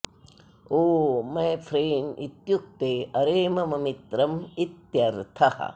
O my friend इत्युक्ते अरे मम मित्रम् इत्यर्थः